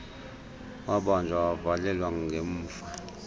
wabanjwa wavalelwa ngemva